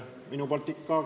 Minu poolt ikka ...